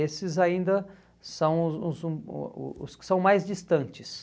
Esses ainda são os os o o o os que são mais distantes.